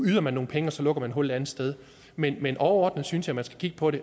yder man nogle penge og så lukker man et hul et andet sted men men overordnet synes jeg man skal kigge på det